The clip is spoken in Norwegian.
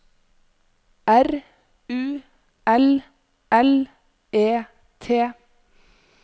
R U L L E T